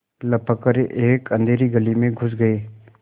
लपक कर एक अँधेरी गली में घुस गये